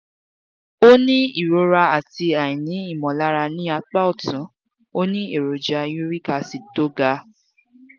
ó ní ìrora àti aini imolara ní apá ọ̀tún ó ní èròjà uric acid tó ga